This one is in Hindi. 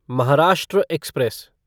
महाराष्ट्र एक्सप्रेस